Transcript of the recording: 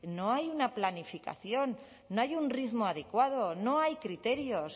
no hay una planificación no hay un ritmo adecuado no hay criterios